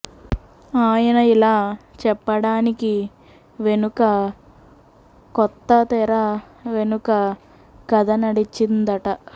ఆయన ఇలా చెప్పడానికి వెనుక కొంత తెర వెనుక కథ నడిచిందట